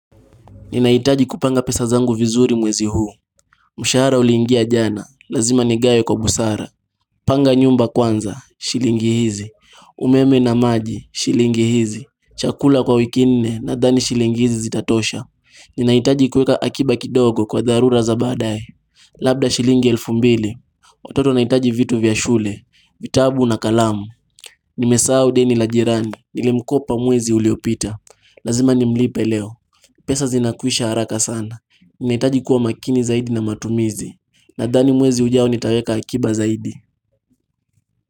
Ninaitaji kupanga pesa zangu vizuri mwezi huu. Mushhaara uliingia jana. Lazima nigawe kwa busara. Panga nyumba kwanza. Shilingi hizi. Umeme na maji. Shilingi hizi. Chakula kwa wiki nne nadhani shilingi hizi zitatosha. Ninaitaji kuweka akiba kidogo kwa dharura za baadaye. Labda shilingi elfu mbili. Watoto wanahitaji vitu vya shule. Vitabu na kalamu. Nimesahau deni la jirani. Nilimkopa mwezi uliopita. Lazima nimlipe leo. Pesa zinakwisha haraka sana. Ninaitaji kuwa makini zaidi na matumizi Nadhani mwezi ujao nitaweka akiba zaidi.